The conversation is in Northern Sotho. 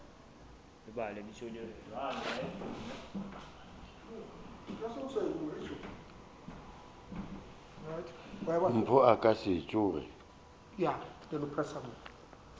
mpho a ka se tsoge